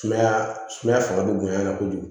Sumaya sumaya fanga bɛ bonya a la kojugu